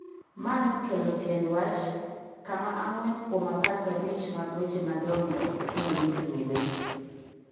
Ma nokelo tiend wach kama ang'wen kuom apar gabich mag weche madongo nomii grube